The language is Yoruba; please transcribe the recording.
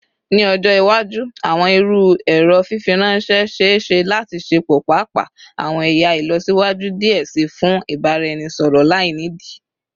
Ni ọjọ iwaju, awọn iru ẹrọ fifiranṣẹ ṣee ṣe lati ṣepọ paapaa awọn ẹya ilọsiwaju diẹ sii fun ibaraẹnisọrọ lainidi